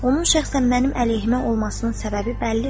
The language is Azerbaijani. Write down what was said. Onun şəxsən mənim əleyhimə olmasının səbəbi bəllidir.